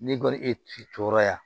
Ne kɔni e t'i cɔrɔ ya